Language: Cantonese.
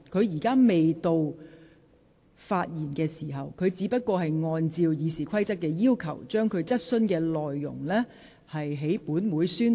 現在並非她發言的時間，她只是按照《議事規則》的要求，在本會宣讀質詢內容。